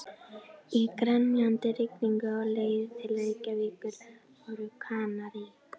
Í grenjandi rigningunni á leið til Reykjavíkur voru Kanarí